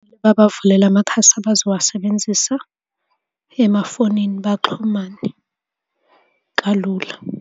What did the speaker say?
Babavulele amakhasi abazowasebenzisa emafonini baxhumane kalula.